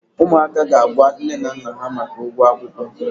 ụmụaka ga-agwa nne na nna ha maka ụgwọ akwụkwọ.